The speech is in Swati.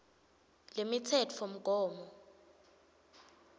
lemitsetfomgomo